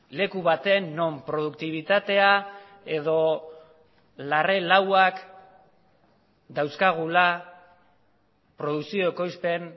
leku baten non produktibitatea edo larre lauak dauzkagula produkzio ekoizpen